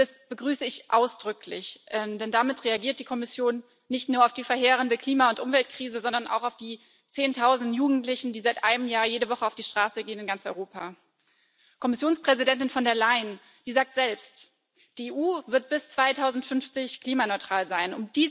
Das begrüße ich ausdrücklich, denn damit reagiert die Kommission nicht nur auf die verheerende Klima und Umweltkrise, sondern auch auf die Zehntausenden von Jugendlichen, die seit einem Jahr in ganz Europa jede Woche auf die Straße gehen. Kommissionspräsidentin von der Leyen sagt selbst Die EU wird bis 2050 klimaneutral sein.